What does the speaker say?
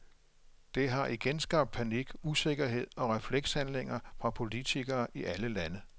Det har igen skabt panik, usikkerhed og reflekshandlinger fra politikere i alle lande.